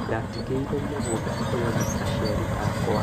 Ndatigĩirwo mũgũnda ũyũ nĩ aciari akwa